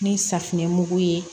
Ni safinɛmugu ye